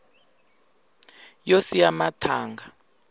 yo siya mathanga